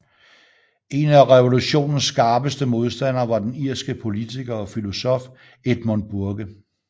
En af revolutionens skarpeste modstandere var den irske politiker og filosof Edmund Burke